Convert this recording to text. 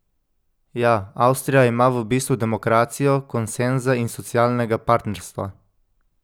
Ja, Avstrija ima v bistvu demokracijo konsenza in socialnega partnerstva.